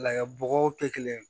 La bɔgɔw tɛ kelen ye